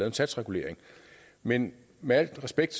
en satsregulering men med al respekt